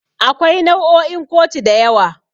Akwai nau'o'in kotu da yawa.